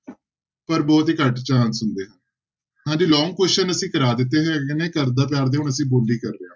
ਪਰ ਬਹੁਤ ਹੀ ਘੱਟ chance ਹੁੰਦੇ ਆ ਹਾਂਜੀ long question ਅਸੀਂ ਕਰਵਾ ਦਿੱਤੇ ਹੈਗੇ ਨੇ ਘਰਦਾ ਪਿਆਰ ਤੇ ਹੁਣ ਅਸੀਂ ਬੋਲੀ ਕਰ ਰਹੇ ਹਾਂ।